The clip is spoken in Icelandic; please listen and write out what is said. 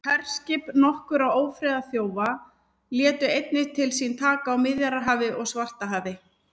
herskip nokkurra ófriðarþjóða létu einnig til sín taka á miðjarðarhafi og svartahafi